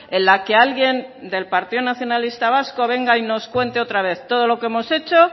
en la que alguien del partido nacionalista vasco venga y nos cuente otra vez todo lo que hemos hecho